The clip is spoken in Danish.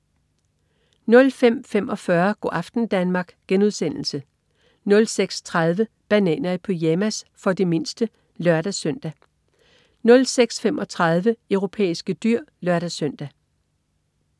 05.45 Go' aften Danmark* 06.30 Bananer i pyjamas. For de mindste (lør-søn) 06.35 Europæiske dyr (lør-søn)